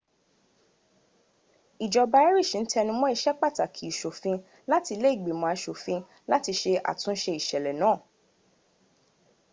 ìjọba irish n tenumó ìsẹpàtàkì ìsòfin láti ilé ìgbìmò asòfin láti sẹ àtúnsẹ ìsèlè náà